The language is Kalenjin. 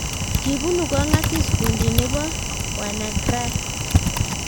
kibunu kongasis kuundi neboo wanaacry